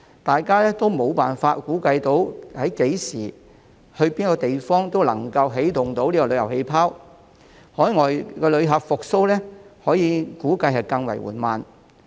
大家都沒有辦法估計何時及哪個地方可以起動旅遊氣泡，海外旅客復蘇估計會更為緩慢。